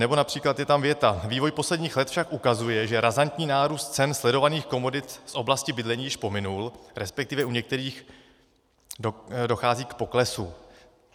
Nebo například je tam věta: Vývoj posledních let však ukazuje, že razantní nárůst cen sledovaných komodit z oblasti bydlení již pominul, respektive u některých dochází k poklesu.